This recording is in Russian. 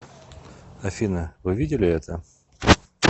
афина вы видели это